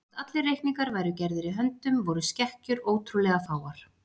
Þótt allir reikningar væru gerðir í höndum voru skekkjur ótrúlega fáar.